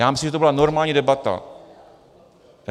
Já myslím, že to byla normální debata.